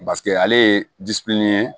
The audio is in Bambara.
paseke ale ye ye